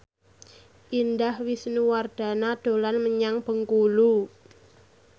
Indah Wisnuwardana dolan menyang Bengkulu